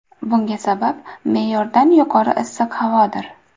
Bunga sabab me’yordan yuqori issiq havodir.